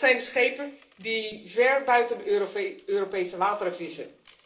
Dat zijn de schepen die ver buiten de Europese wateren vissen.